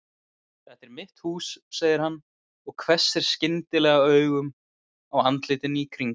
Þetta er mitt hús segir hann og hvessir skyndilega augun á andlitin í kring.